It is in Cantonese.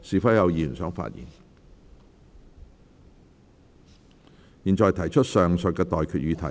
我現在向各位提出上述待決議題。